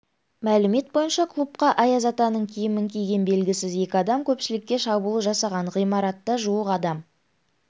мәлімет бойынша клубқа аяз атаның киімін киген белгісіз екі адам көпшілікке шабуыл жасаған ғимаратта жуық адам